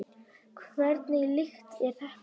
Hvernig lykt er þetta?